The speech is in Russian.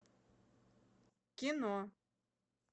кино